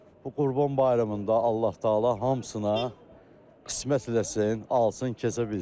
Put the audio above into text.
Bu Qurban bayramında Allah-Taala hamısına qismət eləsin, alsın, kəsə bilsin.